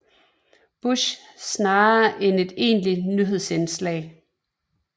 Bush snarere end et egentligt nyhedsindslag